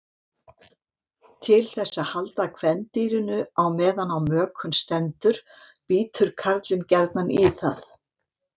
Til þess að halda kvendýrinu á meðan á mökun stendur bítur karlinn gjarnan í það.